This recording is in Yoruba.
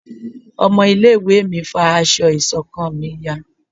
ọmọ ilé ìwé mi fá aṣọ ìṣọ̀kan mí yá